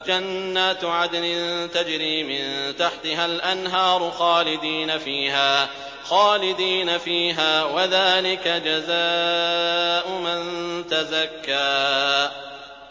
جَنَّاتُ عَدْنٍ تَجْرِي مِن تَحْتِهَا الْأَنْهَارُ خَالِدِينَ فِيهَا ۚ وَذَٰلِكَ جَزَاءُ مَن تَزَكَّىٰ